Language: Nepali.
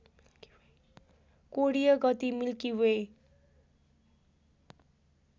कोणीय गति मिल्की वे